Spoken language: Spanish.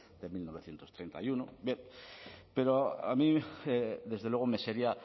de mil novecientos treinta y uno pero a mí desde luego me sería